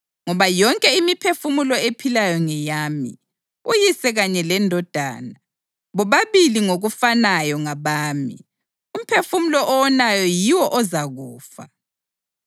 Ngoba yonke imphefumulo ephilayo ngeyami, uyise kanye lendodana, bobabili ngokufanayo ngabami. Umphefumulo owonayo yiwo ozakufa.